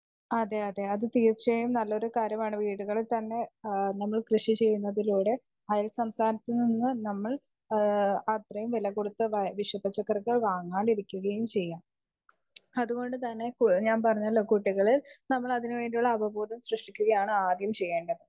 Speaker 2 അതെ അതെ അത് തീർച്ചയായും നല്ലൊരു കാര്യമാണ് വീടുകയിൽ തന്നെ നമ്മൾ കൃഷി ചെയ്യുന്നതിലൂടെ അയൽ സംസ്ഥാനത്തിൽ നിന്ന് നമ്മൾ അത്രെയും വില കൊടുത്ത് വിഷപച്ചക്കറിക്കൽ വാങ്ങാതിരിക്കുകയും ചെയ്യാം അത് കൊണ്ട് തന്നെ ഞാൻ പറഞ്ഞെല്ലോ കുട്ടികളിൽ നമ്മൾ അതിന് വേണ്ടിയുള്ള അപബോധം സൃഷ്ടിക്കുകയാണ് ആദ്യം ചെയ്യേണ്ടത്.